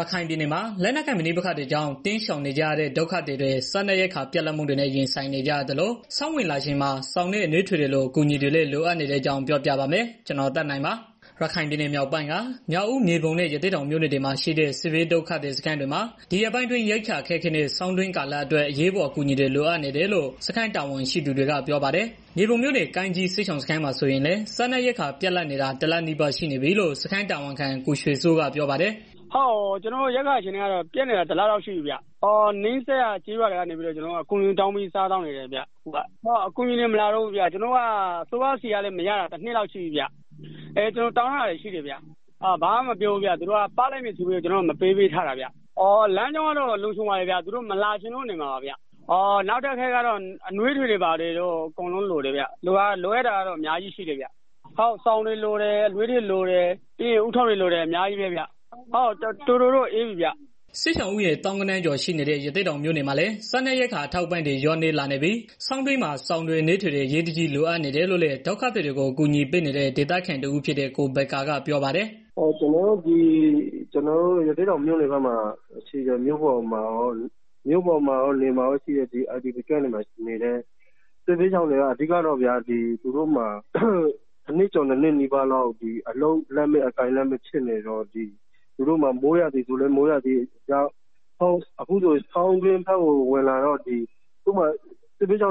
ရခိုင်ပြည်နယ်မှာ လက်နက်ကိုင်ပဋိပက္ခတွေကြောင့် တိမ်းရှောင်နေကြရတဲ့ ဒုက္ခသည်တွေ စားနပ်ရိက္ခာပြတ်လပ်မှုနဲ့ ရင်ဆိုင်နေကြရသလို ဆောင်းဝင်လာချိန်မှာ စောင်နဲ့အနွေးထည် တွေလို အကူအညီတွေလည်း လိုအပ်နေတဲ့အကြောင်း ကိုသက်နိုင် သတင်းပေးပို့ထားပါတယ်။ ရခိုင်ပြည်နယ်မြောက်ပိုင်းက မြောက်ဦး မြေပုံနဲ့ ရသေ့တောင်မြို့နယ်တွေမှာ ရှိတဲ့ စစ်ဘေးဒုက္ခသည် စခန်းတွေမှာ ဒီရက်ပိုင်းအတွင်း ရိက္ခာအခက်အခဲနဲ့ ဆောင်းတွင်းကာလအတွက် အရေးပေါ် အကူအညီတွေ လိုအပ်နေတယ်လို့ စခန်းတာဝန်ရှိသူတွေက ပြောပါတယ်။ မြေပုံမြို့နယ် ကိုင်းကြီးစစ်ရှောင်စခန်းမှာ ဆိုရင်လည်း စားနပ်ရိက္ခာပြတ်လပ်နေတာ တစ်လနီးပါးရှိနေပြီလို့ စခန်းတာဝန်ခံ ကိုရွှေစိုးက ပြောပါတယ်။ “ ကျနော်တို့ စခန်းမှာ ရိက္ခာပြတ်နေတာ တစ်လလောက်ရှိပါပြီဗျာ။ အခုတော့ နီးစပ်ရာ ကျေးရွာ တွေက အကူအညီတောင်းပြီးတော့ စားနေရတယ်။ အကူအညီတွေလည်းမလာတော့ဘူး ကျနော်တို့က အစိုးရဆီက အကူအညီမရတာလည်း တစ်နှစ်ကျော်သွားးပါပြီ။ ကျနော်တို့ တောင်းထားတာလည်းရှိတယ်။ သူတို့က ပေးမယ်ပြောပြီးတော့ အခုထိမပေးသေးဘူး။ လမ်းကြောင်းလည်းအဆင်ပြေတယ်။ သူတို့မလာချင်လို့ နေမှာပါ။ နောက်တစ်ခုကတော့ အနွေးထည်တွေ စောင်တွေ လိုတယ်ဗျာ။ လိုတာတွေတော့ တော်တော်များတယ်။ အရမ်းအေးနေပြီအခုက။” စစ်ရှောင်ဦးရေ သောင်းဂဏန်းကျော်ရှိနေတဲ့ ရသေ့တောင်မြို့နယ်မှာလည်း စားနပ်ရိက္ခာ အထောက်အပံံ့တွေ လျော့နည်းလာနေပြီး၊ ဆောင်းတွင်းမှာ စောင်တွေ၊ အနွေးထည်တွေ အရေးတကြီး လိုအပ်နေတယ်လို့လည်း ဒုက္ခသည်တွေကို အကူအညီပေးနေတဲ့ ဒေသခံတဦးဖြစ်တဲ့ ကိုဘက္ကာ ပြောပါတယ်။ “ ကျနော်တို့ ရသေ့တောင်ဖက်မှာ မြို့ပေါ်မှာရော နယ်တွေမှာရောရှိတဲ့ IDPတွေမှာ အဓိက လိုအပ်တာကတော့ တစ်နှစ်ကျော်နှစ်လောက်နီးပါးလောက် အလုပ်လက်မဲ့ဖြစ်နေတော့ အခု လည်း ဆောင်းတွင်းဖက်ကို ဝင်လာတော့ အဓိကတော့ ဒီဖက်မှာ တအားချမ်းတော့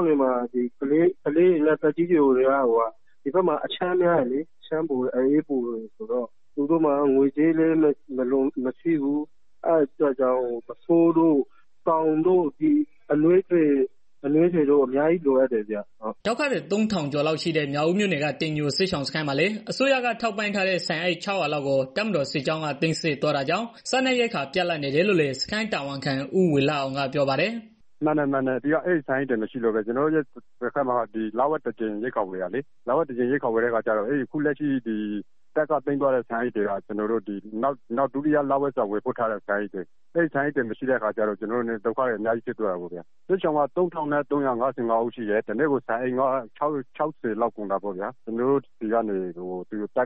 ကလေး တွေ သက်ကြီးရွယ်အိုတွေကတော့ သူတို့မှာ ငွေကြေးလည်းမရှိဘူး ပုဆိုးတို့ ဆောင်တို့ အနွေး ထည်တို့ အများကြီးလိုအပ်တယ်ဗျာ။” ဒုက္ခသည် သုံးထောင်ကျော်ရှိတဲ့ မြောက်ဦးမြို့နယ်က တိမ်ညိုစစ်ရှောင်မှာလည်း အစိုးရက ထောက်ပံ့ထားတဲ့ ဆန်အိတ် ၆၀၀ လောက်ကို တပ်မတော်စစ်ကြောင်းတစ်ခုက သိမ်းဆည်းသွားတာကြောင့် စားနပ်ရိက္ခာ ပြတ်လပ်နေတယ်လို့လည်း စခန်းတာဝန်ခံ ဦးဝေလှအောင်က ပြောပါတယ်။ “ အဲဒီဆန်အိတ်တွေ မရှိတော့လိုပဲ ကျနော်တို့ ဆီမှာက လဝက်တစ်ကြိမ် ရိက္ခာဝယ်တာလေ အခုလက်ရှိ တပ်က သိမ်းသွားတဲ့ ဆန်အိတ်တွေက အခုလဒုတိယလအတွက်ထားတာလေ အဲဒီဆန်အိတ်တွေ မရှိတော့တဲ့ အခါကျတော့ အခက်အခဲဖြစ်သွားတာပေါ့ဗျာ။ စစ်ရှောင်က ၃၅၅၃၃ဦးရှိတယ် ။ တစ်နေ့ကို ဆန်အိတ် ၆၀လောက်ကုန်တာပေါ့ဗျာ။ ကျနော်တို့ဆီက သိမ်းသွားတဲ့ ဆ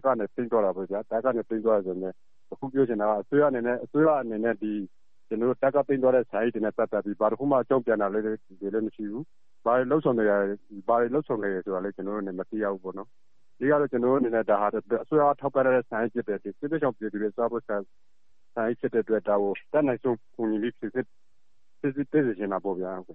န်အိတ်တွေနဲ့ ပတ်သတ်ပြီး အစိုးရ ဘာတွေလုပ်ဆောင်နေ တယ်ဆိုတာကိုလည်း ကျနော်တို့မသိရဘူး။ အဓိကတော့ ဒါဟာ အစိုးရက ထောက်ပံ့ထားတဲ့ ဆန်အိတ်တွေ ဖြစ်တယ် စစ်ရှောင်တွေ စားဖို့အတွက် ထောက်ပံ့ထားတာလည်းဖြစ်တယ်။ ဒါကို အတတ်နိုင် ဆုံး ဖြေရှင်းပေးစေချင်တာပေါ့ဗျာ။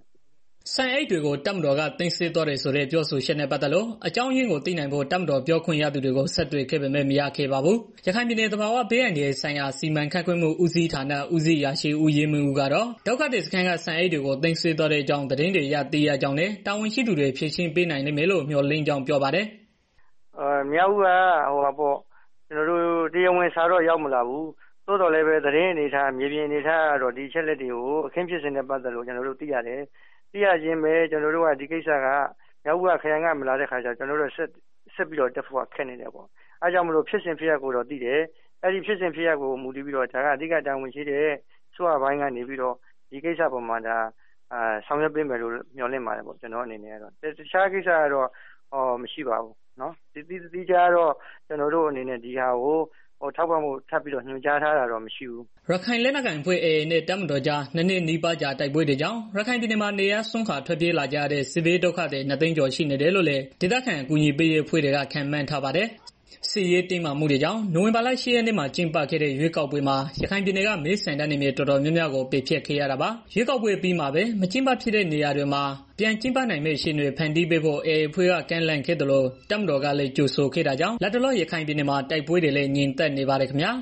” ဆန်အိတ်တွေကို တပ်မတော်က သိမ်းဆည်းသွားတယ်ဆိုတဲ့ ပြောဆိုချက်နဲ့ ပတ်သက်လို့ အကြောင်းရင်းကို သိနိုင်ဖို့ တပ်မတော်ပြောခွင့်ရသူကို ဆက်သွယ်ခဲ့ပေမဲ့ မရခဲ့ပါဘူး။ ရခိုင်ပြည်နယ် သဘာဝဘေးအန္တရာယ်ဆိုင်ရာ စီမံခန့်ခွဲမှူဦးစီးဌာန ဦးစီးအရာရှိ ဦးရဲမင်းဦးတော့ ဒုက္ခသည်စခန်းက ဆန်အိတ်တွေကို သိမ်းဆည်းသွားတဲ့အကြောင်း သတင်းတွေအရ သိရကြောင်းနဲ့ တာဝန်ရှိသူတွေ ဖြေရှင်းပေးနိုင်လိမ့်မယ်လို့ မျှော်လင့်ကြောင်း ပြောပါတယ်။ “မြောက်ဦးက တရားဝင်စာတော့ ရောက်မလာဘူး ဒါပေမယ့် သတင်းအနေအထားအရ မြေပြင် အနေအထားအရ အခင်းဖြစ်စဉ်ကို ကျနော်တို့သိရတယ်။ သိရချင်းပဲ ကျနော်တို့က မြောက်ဦး ခရိုင်ရုံးက ရောက်မလာတော့ ကျနော်တို့က ဆက်ပြီးတော့ တက်ဖို့ ခက်နေတာပေါ့။ အဓိက ဖြစ်စဉ်ဖြစ်ရပ်ကိုတော့ သိတယ်။ ဒါပေမယ့် ဖြစ်စဉ်ဖြစ်ရပ်ကို သိပေမယ့်လည်း အဓိက တာဝန်ရှိတဲ့ အစိုးရပိုင်းကလည်း ဒီကိစ္စအပေါ်မှာ ဖြေရှင်းပေးနိုင်လိမ့်မယ်လို့ ကျနော်တို့လည်း မျှော်လင့်ပါတယ်။ တစ်ခြားတော့ မရှိပါဘူး ဒီဟာကိုနောက်ထပ် သီးခြားထောက်ပံ့ဖို့ကတော့ ညွန်ကြားထားတာလည်းမရှိပါဘူး။” ရခိုင်လက်နက်ကိုင်အဖွဲ့ AA နဲ့ တပ်မတော်ကြား ၂ နှစ်နီးပါးကြာ တိုက်ပွဲတွေကြောင့် ရခိုင်ပြည်နယ်မှာ နေရပ်စွန့်ခွာ ထွက်ပြေးကြရတဲ့ စစ်ဘေးဒုက္ခသည် ၂ သိန်းကျော်ရှိနေတယ်လို့လည်း ဒေသခံ အကူအညီပေးရေး အဖွဲ့တွေက ခန့်မှန်းထားပါတယ်။ စစ်ရေးတင်းမာမှုတွေကြောင့် နိုဝင်ဘာလ ၈ ရက်နေ့က ကျင်းပခဲ့တဲ့ ရွေးကောက်ပွဲမှာ ရခိုင်ပြည်နယ်က မဲဆန္ဒနယ် တော်တော်များများကိုလည်း ဖျက်ခဲ့ရတာပါ။ ရွေးကောက်ပွဲ အပြီးမှာပဲ မကျင်းပဖြစ်တဲ့ နေရာတွေမှာ ပြန်ကျင်းပနိုင်မယ့် အခြေအနေတွေ ဖန်တီးဖို့ AA အဖွဲ့က ကမ်းလှမ်းခဲ့သလို တပ်မတော်ကလည်း ကြိုဆိုခဲ့တာကြောင့် လတ်တလော ရခိုင်ပြည်နယ်မှာ တိုက်ပွဲတွေလည်း ငြိမ်သက်နေပါတယ်ခင်ဗျာ